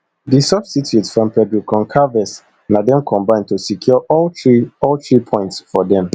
di substitutes from pedro goncalves na dem combine to secure all three all three points for dem